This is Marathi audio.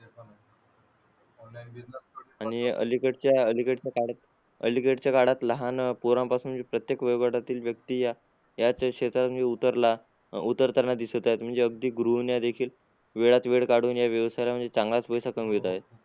आणि अलीकडच्या अलीकडच्या काळा अलीकडच्या काळात लहान पोरांपासून प्रत्येक वयोगटातील व्यक्ती याच क्षेत्रात म्हणजे उतरला उतरताना दिसत आहे म्हणजे अगदी गृहिण्या देखील वेळातला वेळ काढून म्हणजे या व्यवसायात चांगला पैसा कमवित आहेत.